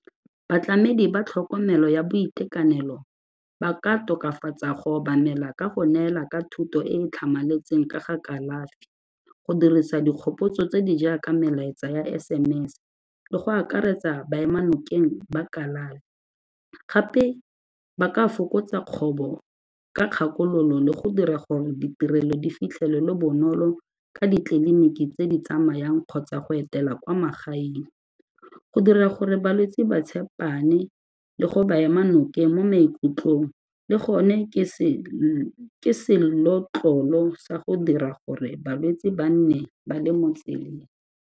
Batlamedi ba tlhokomelo ya boitekanelo ba ka tokafatsa go obamela ka go neela ka thuto e e tlhamaletseng ka ga kalafi, go dirisa dikgopotso tse di jaaka melaetsa ya SMS-e le go akaretsa baemanokeng ba kalafi, gape ba ka fokotsa kgobo ka kgakololo le go dira gore ditirelo di fitlhelelwe bonolo ka ditleliniki tse di tsamayang kgotsa go etela kwa magaeng. Go dira gore balwetse ba tshepane le go ba ema nokeng mo maikutlong le gone ke se senotlolo sa go dira gore balwetse ba nne ba le mo tseleng.